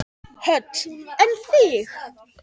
Hödd: En þig?